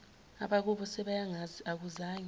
abakubo sebeyangazi akuzange